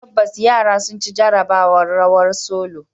Tabbas, yaran sun ci jarabawar "rawar solo".